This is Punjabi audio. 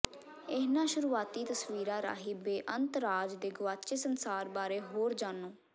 ਇਨ੍ਹਾਂ ਸ਼ੁਰੂਆਤੀ ਤਸਵੀਰਾਂ ਰਾਹੀਂ ਬੇਅੰਤ ਰਾਜ ਦੇ ਗੁਆਚੇ ਸੰਸਾਰ ਬਾਰੇ ਹੋਰ ਜਾਣੋ